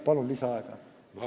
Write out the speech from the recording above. Palun lisaaega!